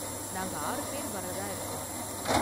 நாங்க ஆறு பேர் வர்றதா இருக்கோம்.